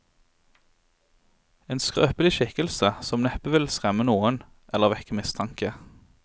En skrøpelig skikkelse som neppe ville skremme noen, eller vekke mistanke.